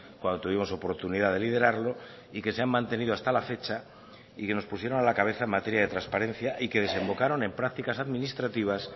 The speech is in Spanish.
cuando tuvimos oportunidad de liderarlo y que se han mantenido hasta la fecha y que nos pusieron a la cabeza en materia de transparencia y que desembocaron en prácticas administrativas